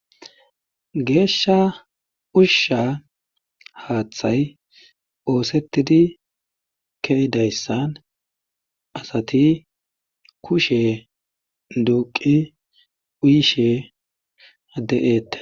Geeshsha ushsha haaththay oosettidi keydayssan asati kushe duuqi uyishe ade7eettees.